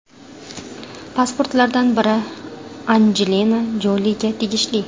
Pasportlardan biri Anjelina Joliga tegishli.